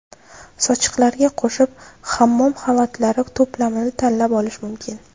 Sochiqlarga qo‘shib hammom xalatlari to‘plamini tanlab olish mumkin.